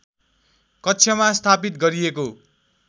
कक्षमा स्थापित गरिएको